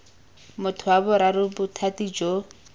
motho wa boraro bothati jo